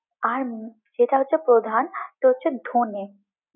আর যেটা হচ্ছে প্রধান যেটা হচ্ছে ধোনে।